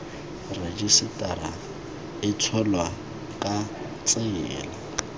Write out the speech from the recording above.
rejisetara e tsholwa ka tsela